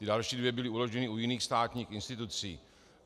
Ta další dvě byla uložena u jiných státních institucí.